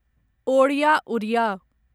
Odia Odia